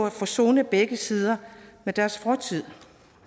at forsone begge sider med deres fortid